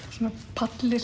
palli